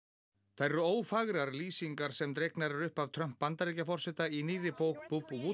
þær eru lýsingarnar sem dregnar eru upp af Trump Bandaríkjaforseta í nýrri bók